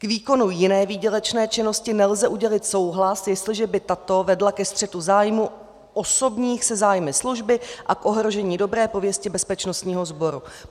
K výkonu jiné výdělečné činnosti nelze udělit souhlas, jestliže by tato vedla ke střetu zájmů osobních se zájmy služby a k ohrožení dobré pověsti bezpečnostního sboru.